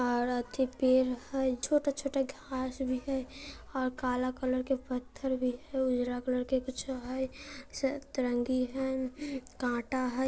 और अथी पेड़ हैं छोटा-छोटा घास भी हैं और काला कलर के पत्थर भी है उजरा कलर का कुछो है सतरंगी है हूं कांटा है।